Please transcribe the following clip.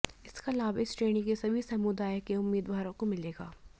इसका लाभ इस श्रेणी के सभी समुदाय के उम्मीदवारों को मिलेगा